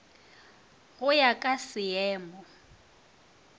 go e ya ka seemo